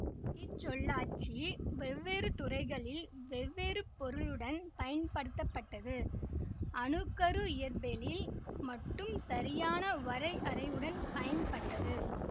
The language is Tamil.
இச்சொல்லாட்சி வெவ்வேறு துறைகளில் வெவ்வேறு பொருளுடன் பயன்படுத்தப்பட்டது அணு கரு இயற்பியலில் மட்டும் சரியான வரையறையுடன் பயன்பட்டது